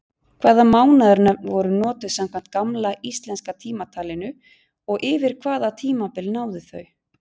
Hvaða mánaðanöfn voru notuð samkvæmt gamla íslenska tímatalinu og yfir hvaða tímabil náðu þau?